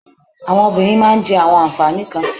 Àwọn obìnrin máà ń jẹ awọn ànfàní kan